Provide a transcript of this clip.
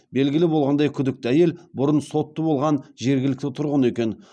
белгілі болғандай күдікті әйел бұрын сотты болған жергілікті тұрғын екен